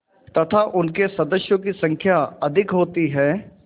तथा उनके सदस्यों की संख्या अधिक होती है